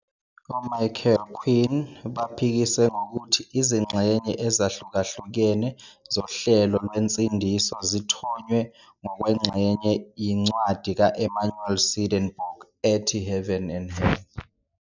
Michael Quinn, baphikise ngokuthi izingxenye ezahlukahlukene zohlelo lwensindiso zithonywe ngokwengxenye yincwadi kaEmanuel Swedenborg "ethi Heaven and Hell".